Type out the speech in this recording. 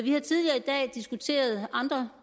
har tidligere i dag diskuteret andre